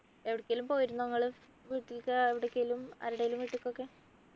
എവിടെക്കേലും പോയിരുന്നോ നിങ്ങള് വീട്ടിലേക്ക് എവിടേക്കെങ്കിലും ആരുടേലും വീട്ടിക്കൊക്കെ